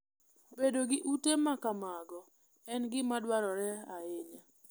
Bedo gi ute ma kamago en gima dwarore ahinya.